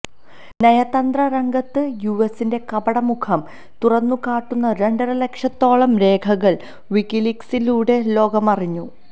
നയതന്ത്ര രംഗത്തു യുഎസിന്റെ കപട മുഖം തുറന്നുകാട്ടുന്ന രണ്ടര ലക്ഷത്തോളം രേഖകൾ വിക്കിലീക്സിലൂടെ ലോകമറിഞ്ഞു